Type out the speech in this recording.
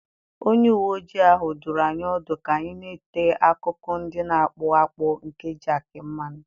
Onye uwe ojii ahụ dụrụ anyị ọdụ ka anyị na-ete akụkụ ndị na-akpụ akpụ nke jakị mmanụ.